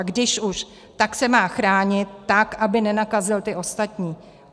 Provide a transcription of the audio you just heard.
A když už, tak se má chránit tak, aby nenakazil ty ostatní.